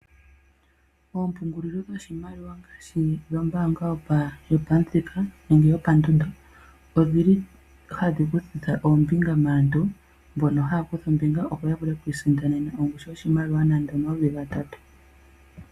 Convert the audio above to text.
Oompungulilo dhoshimaliwa ngaashi dhombaanga yopamuthika nenge yopandondo odhi li hadhi kuthitha aantu ombinga, mbono haa kutha ombinga opo ya vule oku isindanena pngushu yoshimaliwa nando omayovi gatatu (N$ 3000).